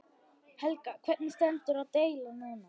Helga: Hvernig stendur deilan núna?